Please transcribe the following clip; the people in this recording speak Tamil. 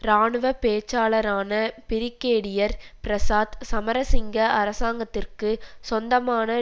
இராணுவ பேச்சாளரான பிரிகேடியர் பிரசாத் சமரசிங்க அரசாங்கத்திற்கு சொந்தமான